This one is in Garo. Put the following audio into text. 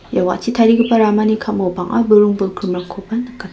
ia wa·achi tarigipa ramani ka·mao bang·a buring bolgrimrangkoba nikata--